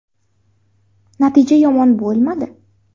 Natija yomon bo‘lmadi.